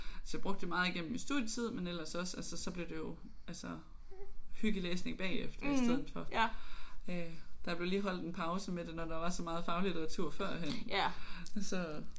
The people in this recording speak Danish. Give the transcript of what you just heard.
Så brugte jeg meget igennem min studietid men ellers også altså så blev det jo altså hyggelæsning bagefter. Der blev lige holdt en pause med det når der var så meget faglitteratur førhen så